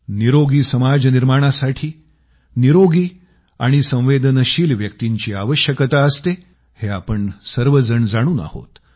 स्वस्थ समाज निर्माणासाठी स्वस्थ आणि संवेदनशील व्यक्तींची आवश्यकता असते हे आपण सर्वजण जाणून आहोत